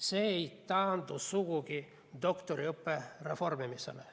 See ei taandu sugugi doktoriõppe reformimisele.